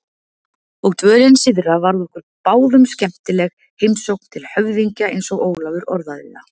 Og dvölin syðra varð okkur báðum skemmtileg, heimsókn til höfðingja eins og Ólafur orðaði það.